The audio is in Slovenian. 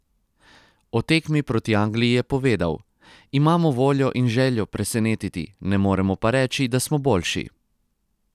O tekmi proti Angliji je povedal: "Imamo voljo in željo presenetiti, ne moremo pa reči, da smo boljši.